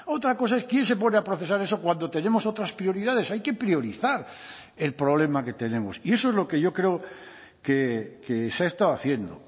otra cosa es quién se pone a procesar eso cuando tenemos otras prioridades hay que priorizar el problema que tenemos y eso es lo que yo creo que se ha estado haciendo